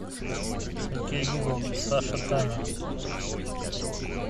окей гугл саша таня